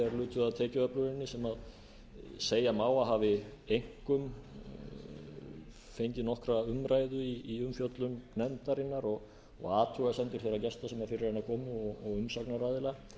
lutu að tekjuöfluninni sem segja má að hafi einkum fengið nokkra umræðu í umfjöllun nefndarinnar og athugasemdum þeirra gesta sem fyrir hana komu og umsagnaraðila